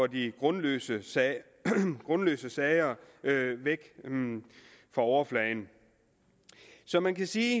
de grundløse sager grundløse sager væk fra overfladen så man kan sige